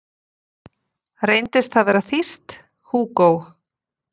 Reyndist það vera þýskt, Hugo